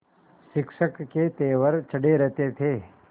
शिक्षक के तेवर चढ़े रहते थे